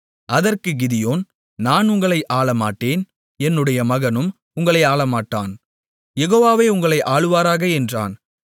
அதற்குக் கிதியோன் நான் உங்களை ஆளமாட்டேன் என்னுடைய மகனும் உங்களை ஆளமாட்டான் யெகோவாவே உங்களை ஆளுவாராக என்றான்